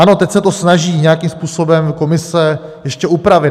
Ano, teď se to snaží nějakým způsobem komise ještě upravit.